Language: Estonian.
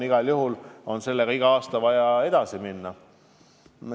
Igal juhul on iga aasta vaja edasi minna.